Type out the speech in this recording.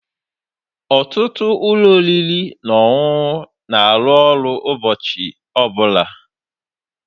Ọtụtụ ụlọ oriri na ọṅụṅụ na-arụ ọrụ ụbọchị ọbụla.